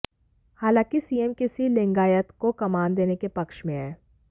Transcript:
हालांकि सीएम किसी लिंगायत को कमान देने के पक्ष में हैं